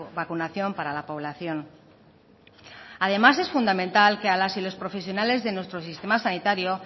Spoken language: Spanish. vacunación para la población además es fundamental que a las y los profesionales de nuestro sistema sanitario